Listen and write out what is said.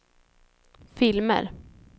filmer